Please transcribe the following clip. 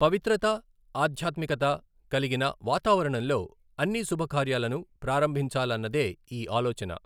పవిత్రత, ఆధ్యాత్మికత కలిగిన వాతావరణంలో అన్ని శుభకార్యాలను ప్రారంభించాలన్నదే ఈ ఆలోచన.